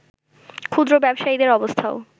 ক্ষুদ্র ব্যবসায়ীদের অবস্থাও